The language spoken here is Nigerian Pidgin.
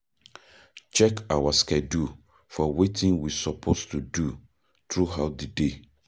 Check our schedule for wetin we suppose do throughout di day